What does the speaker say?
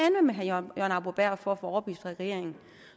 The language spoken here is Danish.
med herre jørgen arbo bæhr for at få overbevist regeringen